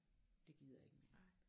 Det gider jeg ikke mere